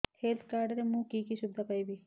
health card ରେ ମୁଁ କି କି ସୁବିଧା ପାଇବି